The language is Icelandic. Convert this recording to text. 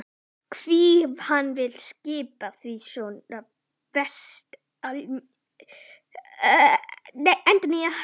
Hví hann vill skipa því svo vefst allmjög fyrir mér.